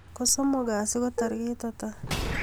Kosomok kasi ko tarik ata